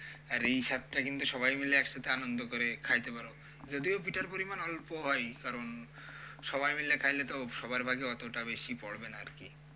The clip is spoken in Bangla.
আর এই স্বাদটা কিন্তু সবাই মিলে একসাথে আনন্দ করে খাইতে পারো, যদিও পিঠার পরিমাণ অল্প হয় কারণ সবাই মিলে খাইলে তো সবার ভাগে অতটা বেশি পরবে না আরকি।